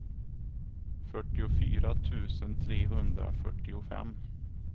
fyrtiofyra tusen trehundrafyrtiofem